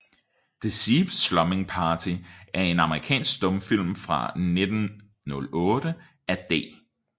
Deceived Slumming Party er en amerikansk stumfilm fra 1908 af D